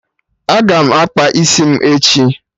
Aga m akpa isi m echi